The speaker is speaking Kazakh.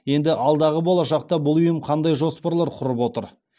енді алдағы болашақта бұл ұйым қандай жоспарлар құрып отыр